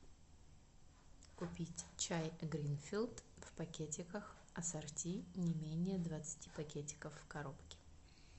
купить чай гринфилд в пакетиках ассорти не менее двадцати пакетиков в коробке